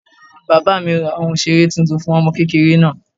Bàbá mí ra ohún ìseré tuntun fún ọmọ kékéré náá